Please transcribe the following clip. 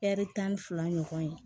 tan ni fila ɲɔgɔn ye